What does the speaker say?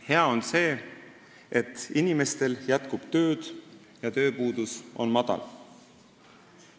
Hea on see, et inimestel jätkub tööd ja tööpuudus on madal.